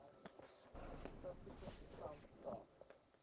subsequent accounts start